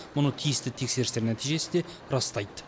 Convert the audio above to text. мұны тиісті тексерістер нәтижесі де растайды